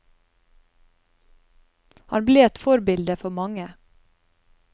Han ble et forbilde for mange.